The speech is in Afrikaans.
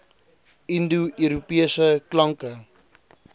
indo europese klanke